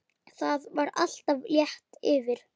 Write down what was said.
Það var alltaf létt yfir.